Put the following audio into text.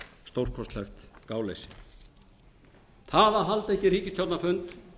stórkostlegt gáleysi það að halda ekki ríkisstjórnarfund